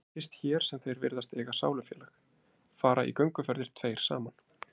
En það er fyrst hér sem þeir virðast eiga sálufélag, fara í gönguferðir tveir saman